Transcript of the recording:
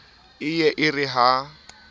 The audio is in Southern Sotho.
e ye e re ha